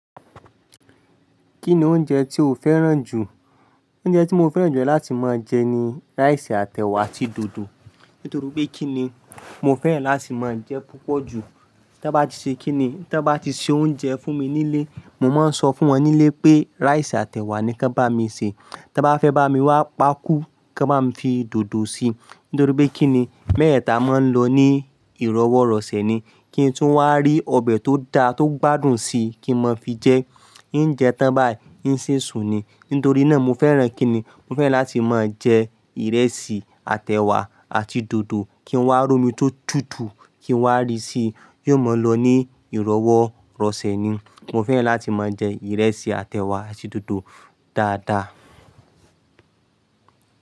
Kí ni oúnjẹ tí o fẹ́ràn jù? Oúnjẹ tí mo fẹ́ràn jù láti mọ jẹ ni rice àti ẹ̀wà àti dòdò. Nítorí pé kí ni, mo fẹ́ràn láti máa jẹ púpọ̀ jù. Ta bá ti ṣe kí ni, ta bá ti se oúnjẹ fún mi nílé, mo mọ ń sọ fún wọn nílé pé rice àti ẹ̀wà ni kí wọn bá mi sè. Tẹ bá fẹ́ bá mi wá pákú, kan ba fi dòdò si, nítorí pé kí ni, mẹ́tẹẹta mọ ń lọ ní ìrọwọ́rọ̀sẹ̀ ni. Kí n tun wá rí ọbẹ̀ tó da tó gbádùn si kí n mọ fi jẹ. Ǹ jẹ tán báyìí ń si sún ni. Nítorí náà mo fẹ́ràn kí ni, mo fẹ́ràn láti máa jẹ ìrẹsì àti ẹ̀wà àti dòdò. Kí n wá rómi tó tutù, kí n wá rí sí yóò máa lọ ní ìrọwọ́rọ̀sẹ̀ ni. Mo fẹ́ràn láti máa jẹ ìrẹsì àti ẹ̀wà àti dòdò dáadáa.